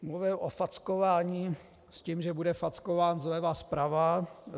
Mluvil o fackování s tím, že bude fackován zleva zprava.